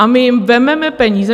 A my jim vezmeme peníze.